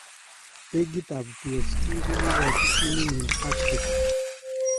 Bekit ap PsG kokorchi timin nyi Hat_trick